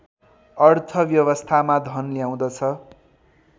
अर्थव्यवस्थामा धन ल्याउँदछ